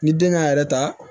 Ni den k'a yɛrɛ ta